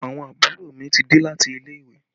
Àwọn àbúrò mi ti dé láti ilé ìwé